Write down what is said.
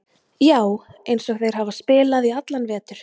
Já, eins og þeir hafa spilað í allan vetur.